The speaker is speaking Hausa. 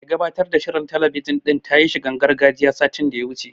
Mai gabatar da shirin talabijin din ta yi shigar gargajiya, satin da ya wuce.